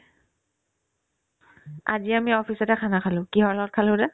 আজি আমি office তে khana খালো কিহৰ লগত খালো সোধা